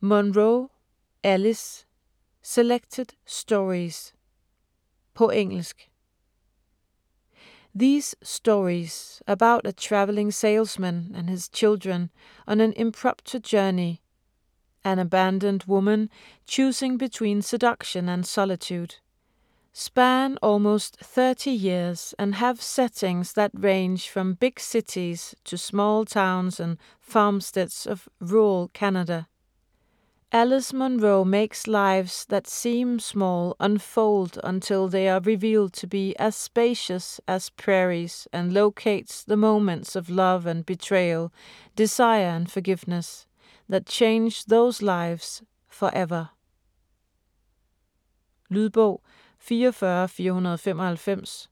Munro, Alice: Selected stories På engelsk. These stories - about a traveling salesman and his children on an impromptu journey; an abandoned woman choosing between seduction and solitude - span almost thirty years and have settings that range from big cities to small towns and farmsteads of rural Canada. Alice Munro makes lives that seem small unfold until they are revealed to be as spacious as prairies and locates the moments of love and betrayal, desire and forgiveness, that change those lives forever. Lydbog 44495